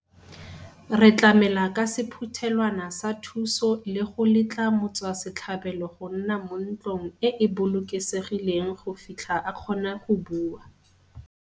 Re tlamela ka sephuthelwana sa thuso le go letla motswa setlhabelo go nna mo ntlong e e bolokesegileng go fitlha a kgona go bua.